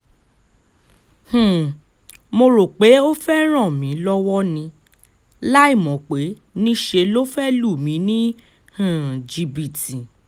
um mo rò pé ó fẹ́ẹ́ ràn mí lọ́wọ́ ni láìmọ̀ pé níṣẹ́ ló fẹ́ẹ́ lù mí ní um jìbìtì